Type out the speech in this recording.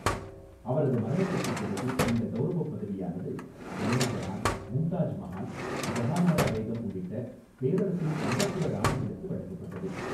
அவரது மரணத்திற்குப் பிறகு, இந்த கௌரவப் பதவியானது நூர்ஜஹான், மும்தாஜ் மஹால், ஜஹானாரா பேகம் போன்ற பேரரசின் அந்தப்புற ராணிகளுக்கு வழங்கப்பட்டது.